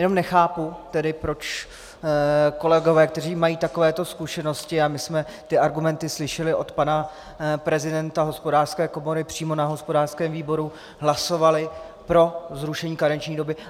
Jenom nechápu tedy, proč kolegové, kteří mají takovéto zkušenosti - a my jsme ty argumenty slyšeli od pana prezidenta Hospodářské komory přímo na hospodářském výboru - hlasovali pro zrušení karenční doby.